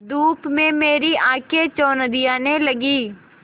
धूप में मेरी आँखें चौंधियाने लगीं